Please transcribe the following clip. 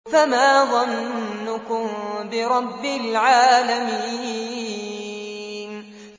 فَمَا ظَنُّكُم بِرَبِّ الْعَالَمِينَ